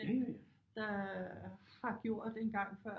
Der har gjort engang før